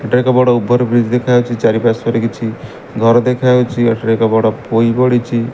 ଏଠାରେ ଏକ ବଡ଼ ଓଭର୍ ବ୍ରିଜ ଦେଖା ଯାଉଚି ଚାରିପାର୍ଶ୍ୱରେ କିଛି ଘର ଦେଖାଯାଉଚି ଏଠାରେ ଏକ ବଡ଼ ପୋଇ ଗଡିଚି।